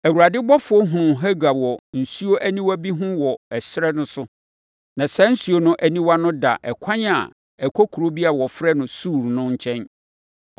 Awurade ɔbɔfoɔ hunuu Hagar wɔ nsuo aniwa bi ho wɔ ɛserɛ no so. Na saa nsuo aniwa no da ɛkwan a ɛkɔ kuro bi a wɔfrɛ no Sur no nkyɛn.